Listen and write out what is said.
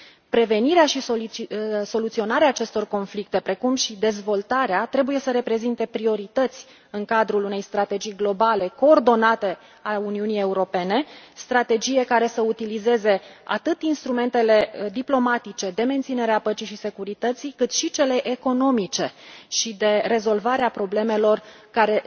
Prevenirea și soluționarea acestor conflicte, precum și dezvoltarea trebuie să reprezinte priorități în cadrul unei strategii globale coordonate a Uniunii Europene, strategie care să utilizeze atât instrumentele diplomatice de menținere a păcii și securității, cât și cele economice și de rezolvare a problemelor care